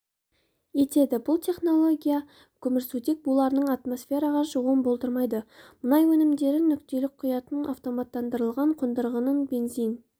етеді бұл технология көмірсутек буларының атмосфераға шығуын болдырмайды мұнай өнімдерін нүктелік құятын автоматтандырылған қондырғының бензин